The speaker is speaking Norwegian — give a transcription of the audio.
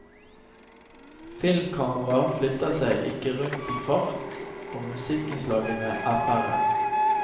Filmkamera flytter seg ikke rundt i fart og musikkinnslagene er færre.